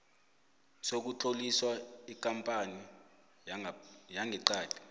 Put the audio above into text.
sokutlolisa ikampani yangeqadi